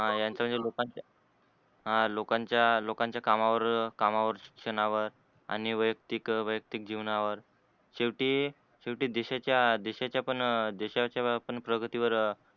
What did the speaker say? ह यांचे जे लोकांच्या लोकांच्या कामावर शिक्षणावर आणि वैयक्तिक वैयक्तिक जीवनावर शेवटी शेवटी देशाच्या देशाच्या पण देशाच्या प्रगतीवर